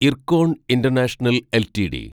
IRCON international LTD